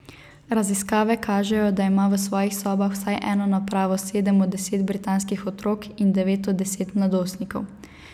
Raziskave kažejo, da ima v svojih sobah vsaj eno napravo sedem od deset britanskih otrok in devet od desetih mladostnikov.